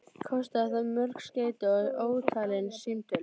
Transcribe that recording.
Kostaði það mörg skeyti og ótalin símtöl.